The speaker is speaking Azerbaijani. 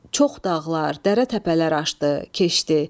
Çox dağlar, dərə təpələr aşdı, keçdi.